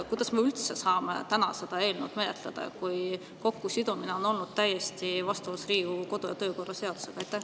Kuidas me üldse saame täna seda eelnõu menetleda, kui see kokkusidumine on olnud täiesti vastuolus Riigikogu kodu- ja töökorra seadusega?